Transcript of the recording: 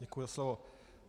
Děkuji za slovo.